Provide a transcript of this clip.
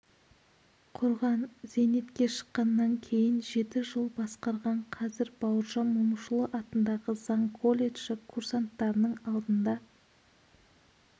құрған зейнетке шыққаннан кейін жеті жыл басқарған қазір бауыржан момышұлы атындағы заң колледжі курсанттарының алдында